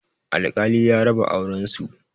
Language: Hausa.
Alkali ya raba auren su